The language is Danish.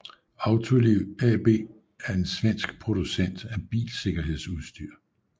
Autoliv AB er en svensk producent af bilsikkerhedsudstyr